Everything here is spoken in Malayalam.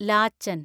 ലാച്ചൻ